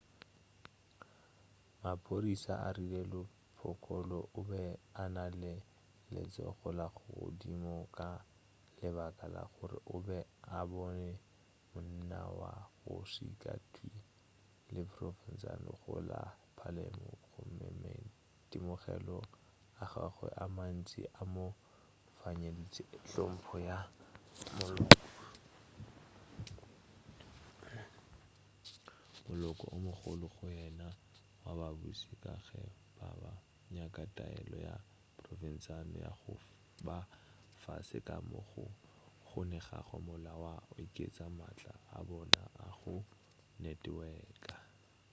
maphodisa a rile lo piccolo o be a na le letsogo la godimo ka lebaka la gore o be a bone monna wa go šika-twii le provenzano go la palermo gomme maitemogelo a gagwe a mantši a mo fenyeditše hlompho ya moloko o mogolo go yena wa babuši ka ge ba be ba nyaka taelo ya provenzano ya go ba fase ka moo go kgonegago mola ba oketša maatla a bona a go neteweka